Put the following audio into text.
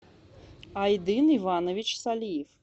айдын иванович салиев